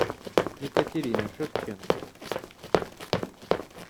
екатерина шевченко